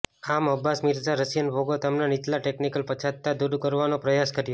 આમ Abbas Mirza Russian ભાગો તેમના નીચલા ટેકનીકલ પછાતતા દૂર કરવાનો પ્રયાસ કર્યો